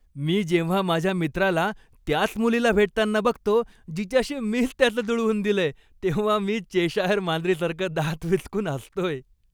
मी जेव्हा माझ्या मित्राला त्याच मुलीला भेटताना बघतो जिच्याशी मीच त्याचं जुळवून दिलं, तेव्हा मी चेशायर मांजरीसारखं दात विचकून हसतोय.